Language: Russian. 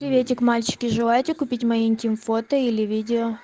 приветик мальчики животе купить маленьким фото или видео